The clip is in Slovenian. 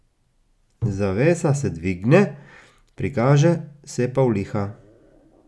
Zavesa se dvigne, prikaže se pavliha.